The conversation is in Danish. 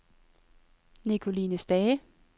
Nicoline Stage